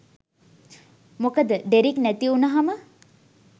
මොකද ඩෙරික් නැතිවුනහම